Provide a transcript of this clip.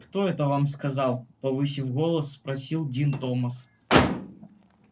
кто это вам сказал повысив голос спросил дин томас